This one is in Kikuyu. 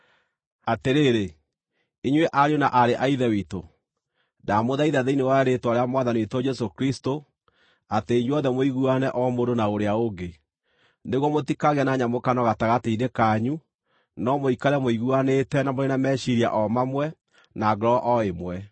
Atĩrĩrĩ, inyuĩ ariũ na aarĩ a Ithe witũ, ndamũthaitha thĩinĩ wa rĩĩtwa rĩa Mwathani witũ Jesũ Kristũ, atĩ inyuothe mũiguane o mũndũ na ũrĩa ũngĩ, nĩguo mũtikagĩe na nyamũkano gatagatĩ-inĩ kanyu, no mũikare mũiguanĩte, na mũrĩ na meciiria o mamwe, na ngoro o ĩmwe.